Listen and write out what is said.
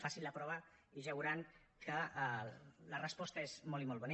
facin la prova i ja veuran que la resposta és molt i molt bona